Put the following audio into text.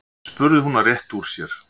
spurði hún og rétti úr sér.